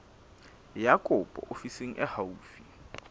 ya kopo ofising e haufi